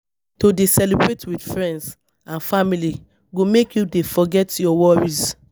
To dey celebrate wit friends and family go make you dey forget your worries.